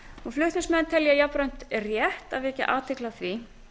flutningsmenn telja jafnframt rétt að vekja athygli á því